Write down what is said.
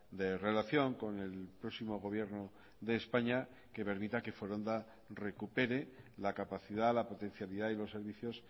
de relación con el próximo gobierno de españa que permita que foronda recupere la capacidad la potencialidad y los servicios